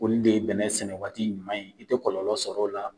Olu de ye bɛnɛ sɛnɛ waati ɲuman ye i tɛ kɔlɔlɔ sɔrɔ o la.